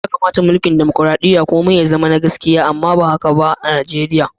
Ya kamata a'mulki'n dimokuradiyya komi ya zama da gaskiya amma ba haka ba a'Nijeriya.